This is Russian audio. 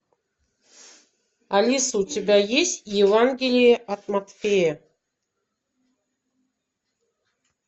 алиса у тебя есть евангелие от матфея